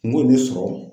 N b'o de sɔrɔ